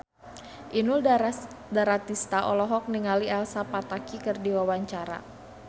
Inul Daratista olohok ningali Elsa Pataky keur diwawancara